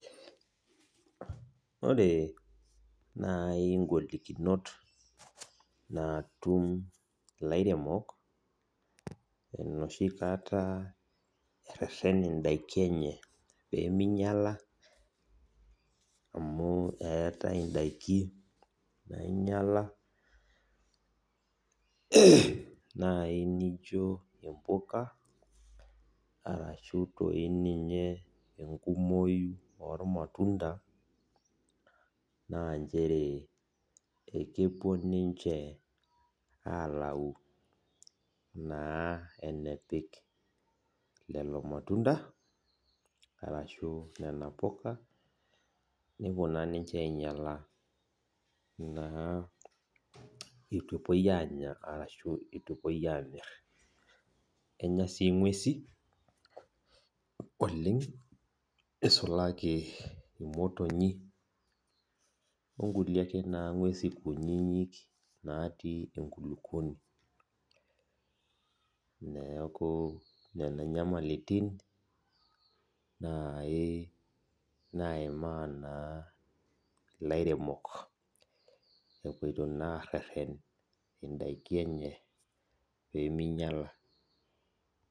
Ore nai ngolikinot natum lairemok enoshikata ereten ndakin enye peminyala amubeetae ndakin niminyala ashu ninye enkumoi ormatunda na nchere kepuo ninche alau enepik lolo matunda ashu nona puka nepuo na ninche ainyala ituepuoi amir, kenya si ngwesi oleng isulaki imotonyi onkulie ake ngwesi kutitik natii enkulukuoni neaku ena nyamalitin nai naimaa naa laremok epoito nai areten ndaki enye peminyala.